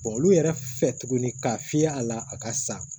olu yɛrɛ fɛ tuguni k'a fiyɛ a la a ka sa